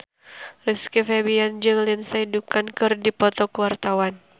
Rizky Febian jeung Lindsay Ducan keur dipoto ku wartawan